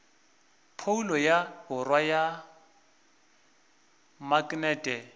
phoulo ya borwa ya maknete